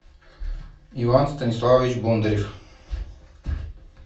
иван станиславович бондарев